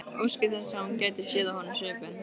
Óski þess að hún gæti séð á honum svipinn.